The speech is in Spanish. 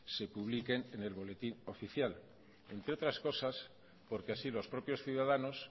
se publiquen en el boletín oficial entre otras cosas porque así los propios ciudadanos